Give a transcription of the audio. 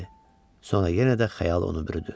Sonra yenə də xəyal onu bürüdü.